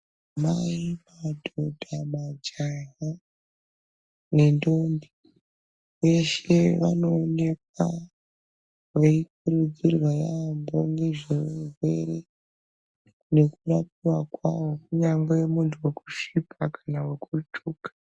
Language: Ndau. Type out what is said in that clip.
Mai, madhodha, majaya nendombi veshe vanoonekwa veikurudzirwa yampo nezvezvirwere nekurapwa kwazvo kunyange muntu vekusvipa kana vekutsvuka.